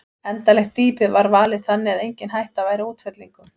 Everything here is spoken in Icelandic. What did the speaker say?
Endanlegt dýpi var valið þannig að engin hætta væri á útfellingum.